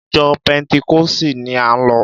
Ìjọ pẹ́ntíkọ̀sì ni án lọ